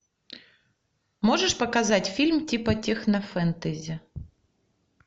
можешь показать фильм типа технофэнтези